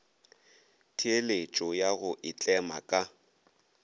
theeletšo ya go itlema ka